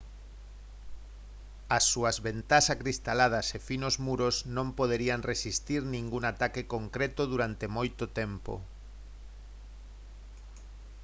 as súas ventás acristaladas e finos muros non poderían resistir ningún ataque concreto durante moito tempo